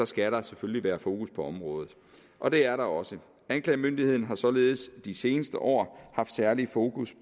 skal der selvfølgelig være fokus på området og det er der også anklagemyndigheden har således de seneste år haft særlig fokus